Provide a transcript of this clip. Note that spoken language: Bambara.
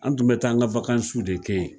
An tun bɛ taa an ka wakansiw de kɛ yen